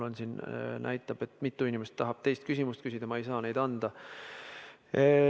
Mul siin näitab, et mitu inimest tahab teist küsimust küsida – ma ei saa seda võimaldada.